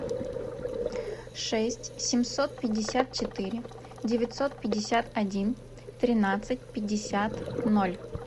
шесть семьсот пятьдесят четыре девятьсот пятьдесят один тринадцать пятьдесят ноль